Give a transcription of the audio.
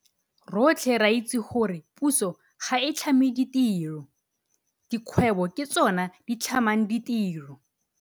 Rotlhe re itse gore puso ga e tlhame ditiro. Dikgwebo ke tsona di tlhamang ditiro.